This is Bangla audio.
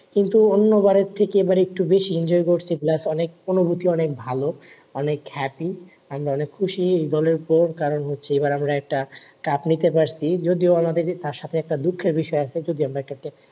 কিন্তু অন্য বারের থেকে একটু বেশি enjoy করছি plus অনেক অনুভুতি অনেক ভালো অনেক happy আমরা অনেক খুশি এই দলের উপর কারণ হচ্ছে এইবার আমারা একটা কাপ নিতে পাচ্ছি যদিও আমাদে তার সাথে দুঃখের বিষয় আছে যদি আমরা ক্যা